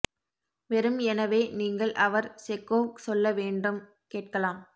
வெறும் எனவே நீங்கள் அவர் செக்கோவ் சொல்ல வேண்டும் கேட்கலாம்